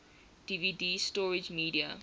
dvd storage media